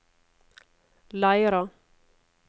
Leira